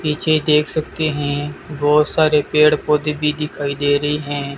पीछे देख सकते हैं बहुत सारे पेड़ पौधे भी दिखाई दे रहे हैं।